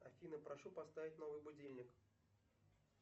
афина прошу поставить новый будильник